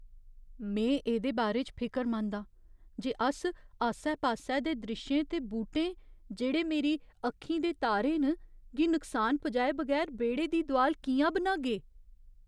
में एह्दे बारे च फिकरमंद आं जे अस आस्से पास्से दे द्रिश्शें ते बूह्टें, जेह्ड़े मेरी अक्खीं दे तारे न, गी नुकसान पजाए बगैर बेह्ड़े दी दोआल कि'यां बनागे।